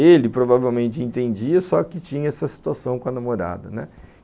Ele provavelmente entendia, só que tinha essa situação com a namorada, né.